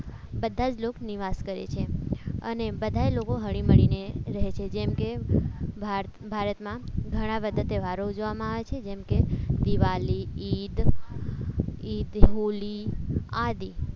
બધા લોક નિવાસ કરે છે અને બધા લોકો હળી મળીને રહે છે જેમ કે ભારતમાં ઘણા બધા તહેવારો ઉજવવામાં આવે છે જેમ કે દિવાલી ઈદ ઈદ હોલી આદિ